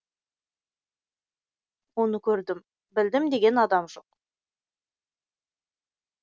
оны көрдім білдім деген адам жоқ